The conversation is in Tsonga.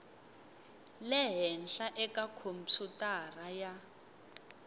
le henhla eka khompyutara ya